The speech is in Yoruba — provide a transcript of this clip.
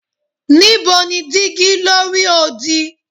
Nibo ni digi lori odi